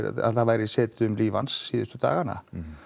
að það væri setið um líf hans síðustu dagana